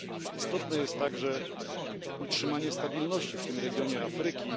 Istotne jest także utrzymanie stabilności w tym regionie Afryki.